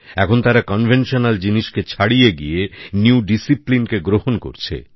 এখন তারা প্রচলিত জিনিসকে ছাড়িয়ে গিয়ে নতুনকে গ্রহণ করছে